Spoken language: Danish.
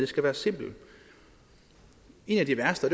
skal være simplere en af de værste